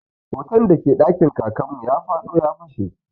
Hoton da ke ɗakin Kakan mu ya fado ya fashe.